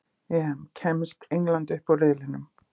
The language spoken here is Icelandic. EM: Kemst England upp úr riðlinum?